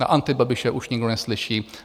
Na Antibabiše už nikdo neslyší.